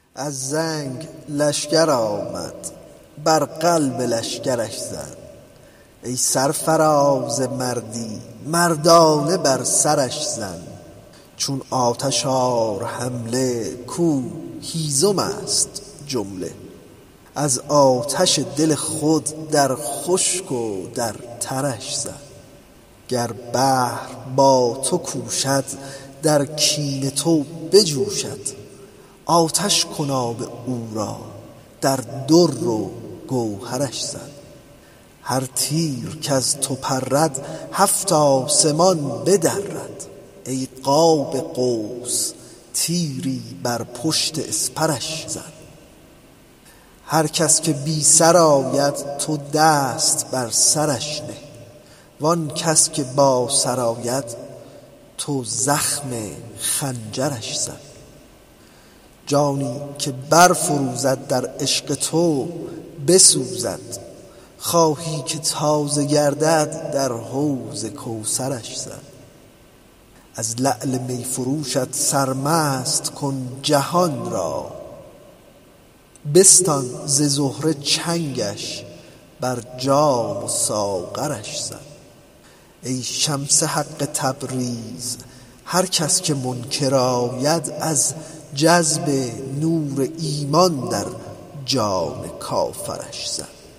از زنگ لشکر آمد بر قلب لشکرش زن ای سرفراز مردی مردانه بر سرش زن چون آتش آر حمله کو هیزم است جمله از آتش دل خود در خشک و در ترش زن گر بحر با تو کوشد در کین تو بجوشد آتش کن آب او را در در و گوهرش زن هر تیر کز تو پرد هفت آسمان بدرد ای قاب قوس تیری بر پشت اسپرش زن هر کس که بی سر آید تو دست بر سرش نه و آن کس که با سر آید تو زخم خنجرش زن جانی که برفروزد در عشق تو بسوزد خواهی که تازه گردد در حوض کوثرش زن از لعل می فروشت سرمست کن جهان را بستان ز زهره چنگش بر جام و ساغرش زن ای شمس حق تبریز هر کس که منکر آید از جذب نور ایمان در جان کافرش زن